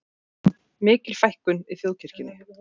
Mikil fækkun í þjóðkirkjunni